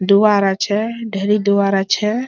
দুয়ার আছে ঢেরি দুয়ার আছে।